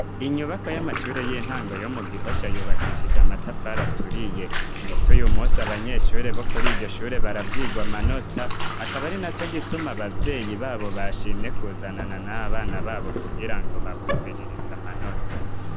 inyubako y'amashure y'intango yomu gihosha yubakishije amatafari aturiye ndetse uyumunsi abanyeshure bokuri iyoshure barabwigwa manota akaba arina co gituma ababyeyi babo bashimye kuzanana n'abana babo kugirango babumviririza amanota